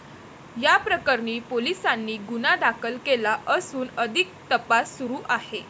याप्रकरणी पोलिसांनी गुन्हा दाखल केला असून अधिक तपास सुरू आहे.